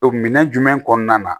minɛn jumɛn kɔnɔna na